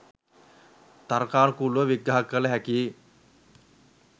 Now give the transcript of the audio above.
තර්කානුකූලව විග්‍රහ කල හැකියි.